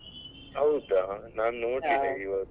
ಹೌದಾ ನಾನು ನೋಡ್ಲಿಲ್ಲ ಇವಾಗ.